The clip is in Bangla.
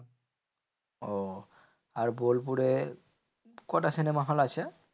ওহ আর বোলপুরে কটা cinema hall আছে?